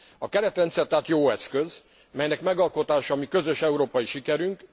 A keretrendszer tehát jó eszköz, melynek megalkotása a mi közös európai sikerünk.